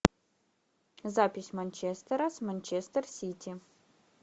запись манчестера с манчестер сити